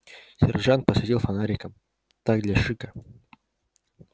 сержант посветил фонариком так для шика